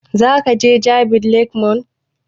Za ka je jabi lake mall?